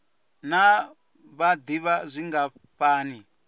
naa vha d ivha zwingafhani